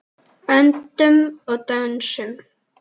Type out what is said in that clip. Öndum og dönsum.